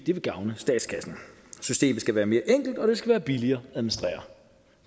det vil gavne statskassen systemet skal være mere enkelt og det skal være billigere at administrere